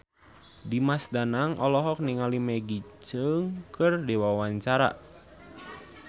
Dimas Danang olohok ningali Maggie Cheung keur diwawancara